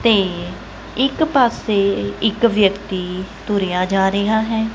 ਤੇ ਇੱਕ ਪਾਸੇ ਇੱਕ ਵਿਅਕਤੀ ਤੁਰਿਆ ਜਾ ਰਿਹਾ ਹੈ।